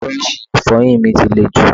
Búrọ́ọ̀ṣì Ìfọ̀yín mi ti lè jù